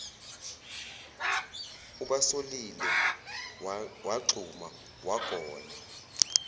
ubasolile wagxuma wagona